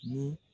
Mun